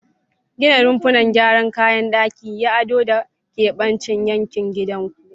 Gina rumfuna, gyara kayan daki, yi ado, da keɓance yankin gidanku.